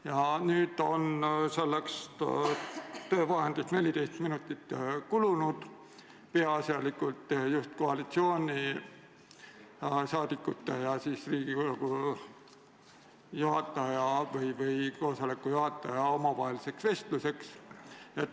Ja nüüd on sellest töövahendist 14 minutit kulunud peaasjalikult koalitsioonisaadikute ja Riigikogu esimehe või istungi juhataja omavaheliseks vestluseks.